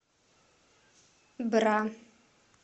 бра